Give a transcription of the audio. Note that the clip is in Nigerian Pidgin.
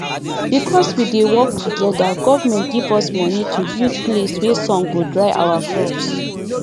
because we dey work together government give us money to build place wey sun go dry our crops